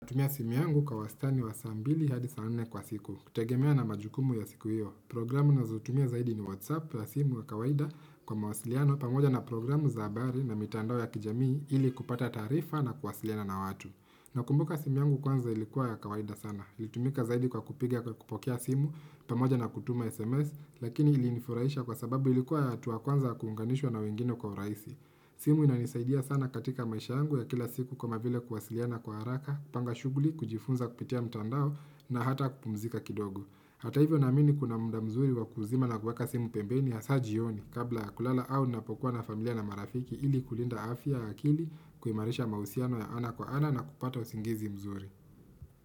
Natumia simu yangu kwa wastani wa saa mbili hadi saa nne kwa siku. Hutegemea na majukumu ya siku hiyo. Programu nazotumia zaidi ni WhatsApp ya simu ya kawaida kwa mawasiliano pamoja na programu za habari na mitandao ya kijamii ili kupata taarifa na kuwasiliana na watu. Nakumbuka simu yangu kwanza ilikuwa ya kawaida sana. Ilitumika zaidi kwa kupiga kwa kupokea simu pamoja na kutuma SMS lakini ilinifurahisha kwa sababu ilikuwa ya hatua ya kwanza kuunganishwa na wengine kwa urahisi. Simu inanisaidia sana katika maisha yangu ya kila siku kuona vile kuwasiliana kwa haraka kupanga shughuli, kujifunza kupitia mtandao na hata kupumzika kidogo Hata hivyo naamini kuna muda mzuri wa kuzima na kuweka simu pembeni hasa jioni Kabla ya kulala au napokuwa na familia na marafiki ili kulinda afya ya akili kuimarisha mahusiano ya ana kwa ana na kupata usingizi mzuri.